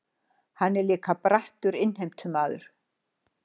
Hann er líka brattur innheimtumaður.